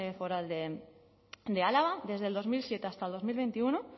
foral de álava desde dos mil siete hasta dos mil veintiuno